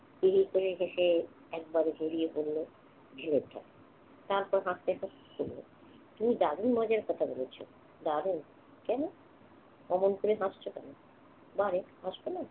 হি হি করে হেসে একবারে গড়িয়ে পড়ল ছেলেটা। তারপর হাসতে হাসতে বলল, তুমি দারুণ মজার কথা বলেছ। দারুণ! কেন? অমন করে হাসছ কেন? বারে, হাসব না?